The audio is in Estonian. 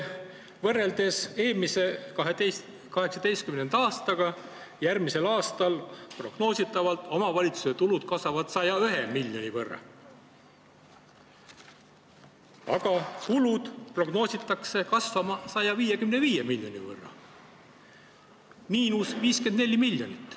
Võrreldes eelmise, 2018. aastaga, kasvavad prognoosi kohaselt järgmisel aastal omavalitsuste tulud 101 miljoni võrra, aga kulud prognoositakse kasvama 155 miljoni võrra – miinus 54 miljonit.